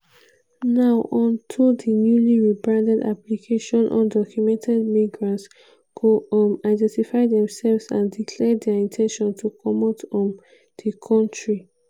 now on to di newly rebranded application undocumented migrants go um identify themselves and declare dia in ten tion to comot um di kontri.